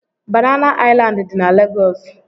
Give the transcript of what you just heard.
Banana Island dị na Lagos.